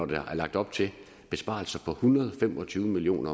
der er lagt op til besparelser på en hundrede og fem og tyve million